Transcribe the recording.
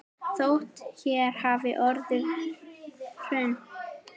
Þótt hér hafi orðið hrun.